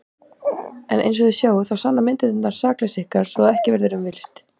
En einsog þið sjáið þá sanna myndirnar sakleysi ykkar svo að ekki verður um villst.